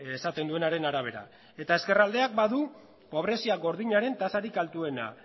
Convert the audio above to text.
esaten duenaren arabera eta ezkerraldeak badu pobrezia gordinaren tasarik altuena